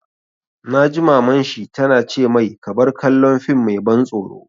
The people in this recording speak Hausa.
Na ji Maman shi ta na ce mai 'Ka bar kallon fim mai ban tsoro'!